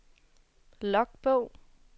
logbog